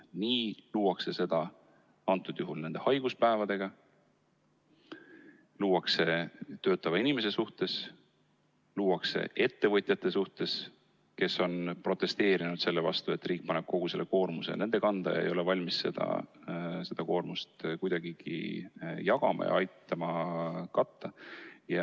Nii luuakse seda ka nende haiguspäevadega, luuakse töötava inimese suhtes, luuakse ettevõtjate suhtes, kes on protesteerinud selle vastu, et riik paneb kogu selle koorma nende kanda ega ole valmis seda koormat kuidagigi jagama ja aitama kahju katta.